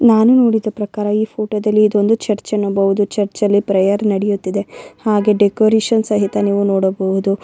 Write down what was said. ನಾನು ನೋಡಿದ ಪ್ರಕಾರ ಈ ಫೋಟೋ ದಲ್ಲಿ ಇದು ಒಂದು ಚರ್ಚ್ ಎನ್ನಬಹುದು ಚರ್ಚ್ ಅಲ್ಲಿ ಪ್ರೇಯರ್ ನಡೆಯ್ತಿದೆ ಹಾಗೆ ಡೆಕೋರೇಷನ್ ಸಹಿತ ನೀವು ನೋಡಬಹುದು.